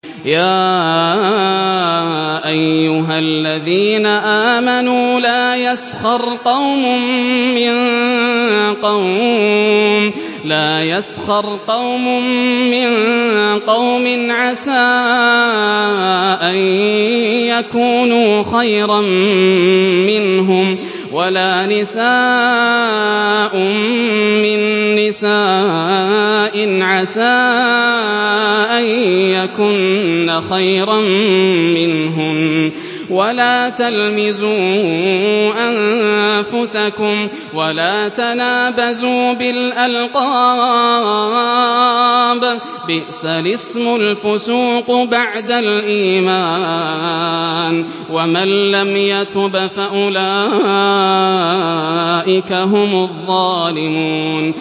يَا أَيُّهَا الَّذِينَ آمَنُوا لَا يَسْخَرْ قَوْمٌ مِّن قَوْمٍ عَسَىٰ أَن يَكُونُوا خَيْرًا مِّنْهُمْ وَلَا نِسَاءٌ مِّن نِّسَاءٍ عَسَىٰ أَن يَكُنَّ خَيْرًا مِّنْهُنَّ ۖ وَلَا تَلْمِزُوا أَنفُسَكُمْ وَلَا تَنَابَزُوا بِالْأَلْقَابِ ۖ بِئْسَ الِاسْمُ الْفُسُوقُ بَعْدَ الْإِيمَانِ ۚ وَمَن لَّمْ يَتُبْ فَأُولَٰئِكَ هُمُ الظَّالِمُونَ